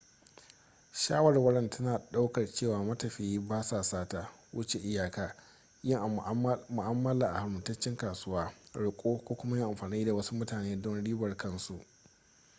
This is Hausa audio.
shawarwar tana daukar cewa matafiya ba sa sata wuce iyaka yin mu'amala a haramtacciyar kasuwa roƙo ko kuma yin amfani da wasu mutane don ribar kan su